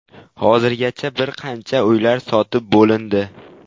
Hozirgacha bir qancha uylar sotib bo‘lindi.